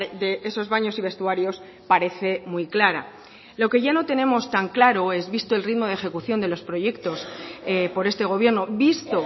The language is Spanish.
de esos baños y vestuarios parece muy clara lo que ya no tenemos tan claro es visto el ritmo de ejecución de los proyectos por este gobierno visto